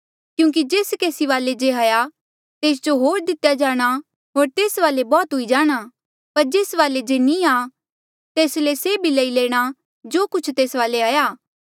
क्यूंकि जेस केसी वाले जे हाया तेस जो होर दितेया जाणा होर तेस वाले बौह्त हुई जाणां पर जेस वाले जे नी आ तेस ले से भी लई लैणा जो कुछ तेस वाले हाया